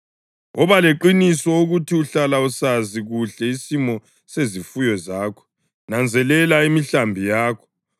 Woba leqiniso ukuthi uhlala usazi kuhle isimo sezifuyo zakho, nanzelela imihlambi yakho;